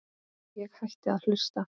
Ég hætti að hlusta.